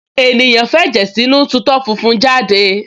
ènìyàn f’ẹ̀jẹ̀ sínú tu itọ́ funfun jáde